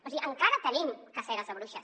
o sigui encara tenim caceres de bruixes